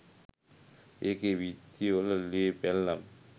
ඒකෙ බිත්ති වල ලේ පැල්ලම්